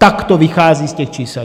Tak to vychází z těch čísel.